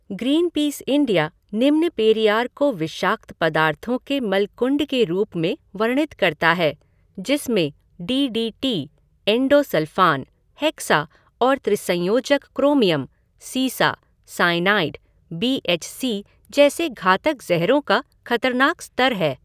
Greenpeace India निम्न पेरियार को विषाक्त पदार्थों के मलकुंड के रूप में वर्णित करता है, जिसमें D D T, endosulfan, hexa और त्रिसंयोजक क्रोमियम, सीसा, साइनाइड, बी एच सी जैसे घातक ज़हरों का खतरनाक स्तर है।